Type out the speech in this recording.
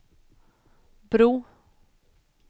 bro